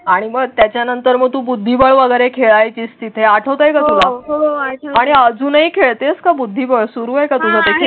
आणि मग त्याच्यानंतर मग तू बुद्धी वगैरे खेळायचीच तिथेच आठवतेय का तुम्हाला हो आणि अजूनही खेळतेच का? बुद्धिबळ सुरू आहे का तुम्ही?